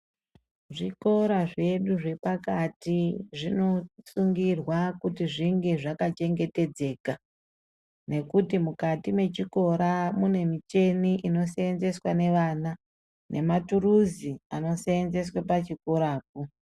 Zvikora zvedu zvepakati zvinosungirwa kuti zvinge zvakachengetedzeka nekuti mukati mwechikora mune mucheni inosenzeswa nevana nematuruzi anosenzeswe pachikorapo.